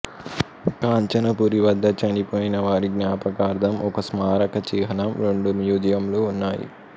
Kanchanaburi వద్ద చనిపోయిన వారి జ్ఞాపకార్థం ఒక స్మారక చిహ్నం రెండు మ్యూజియంలు ఉన్నాయి